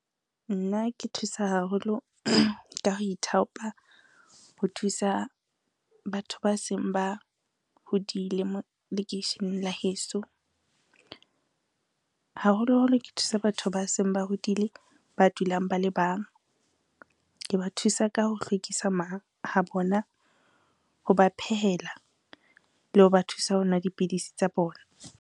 Nna ke thusa haholo ka ho ithaopa ho thusa batho ba seng ba hodile lekeisheneng la heso. Haholoholo ke thusa batho ba seng ba hodile ba dulang ba le bang, ke ba thusa ka ho hlwekisa ma ha bona, ho ba phehela, le ho ba thusa ho nwa dipidisi tsa bona.